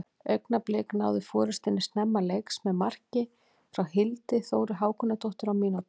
Augnablik náðu forystunni snemma leiks með marki frá Hildi Þóru Hákonardóttur á mínútu.